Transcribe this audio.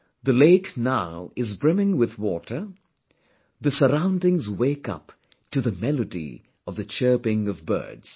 The lake now is brimming with water; the surroundings wake up to the melody of the chirping of birds